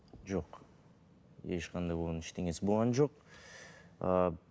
жоқ ешқандай оның ештеңесі болған жоқ